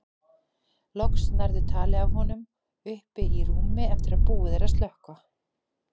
Loks nærðu tali af honum uppi í rúmi eftir að búið er að slökkva.